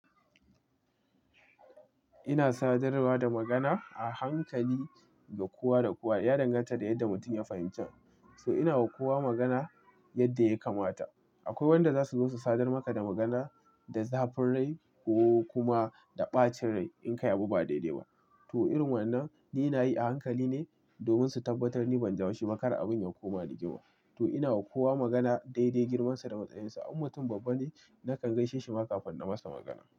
Ina sadarwa da magana a hankali da kowa da kowa. Ya danganta da yadda mutum ya fahimci. To ina wa kowa magana yadda ya kamata. Akwai wanda zasu so su sadar maka da magana da zafin rai ko kuma da ɓacin rai in ka yi abu ba daidai ba. To irin wannan ni nayi a hankali ne domin su tabbatar ni ban ji haushi makar abun yankoma rigima To ina wa kowa magana dai dai girmansa da matsayinsa. In mutum babba ne nakan gaishe shi maka kafin na masa magana.